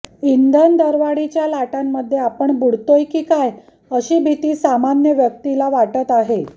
इंधन दरवाढीच्या लाटांमध्ये आपण बुडतोय की काय अशी भिती सामान्य व्यक्तीला वाटत आहे